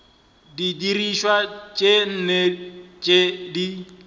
didirišwa tše nne tše di